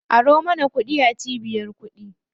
Aro mana kuɗi a cibiyar kuɗi.